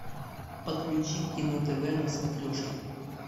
подключи кино тв на смотрешке